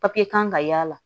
Papiye kan ka y'a la